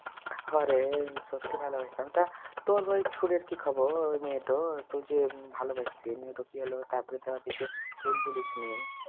হ্যাঁরে সত্যি ভালবাসতাম তা তোর ওই ছুরির কি খবর ওই মেয়েটার তু যে ভালোবাসতিস নিয়ে কি হলো তারপরে তো আর কিছু তুই বলিস নি